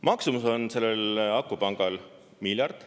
Maksumus on sellel akupangal miljard.